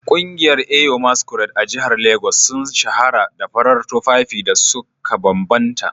Kungiyar Eyo masquerade a jihar Legas sun shahara da farar tufafin da suka bambanta